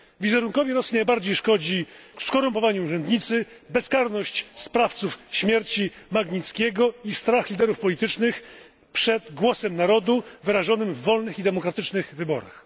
Wizerunkowi Rosji najbardziej szkodzą skorumpowani urzędnicy, bezkarność sprawców śmierci Magnickiego i strach liderów politycznych przed głosem narodu wyrażonym w wolnych i demokratycznych wyborach.